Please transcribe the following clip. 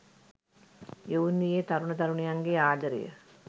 යොවුන් වියේ තරුණ තරුණියන්ගේ ආදරය